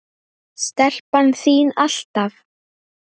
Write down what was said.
Stelpan þín, alltaf.